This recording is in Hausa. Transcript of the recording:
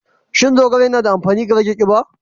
Shin zogale yana da amfani ga rage kiba?